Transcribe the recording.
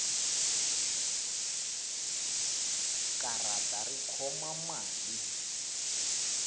karata ri khoma mali